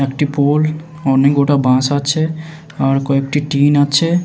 একটি পুল অনেক গোটা বাঁশ আছে আর কয়েকটি টিন আছে ।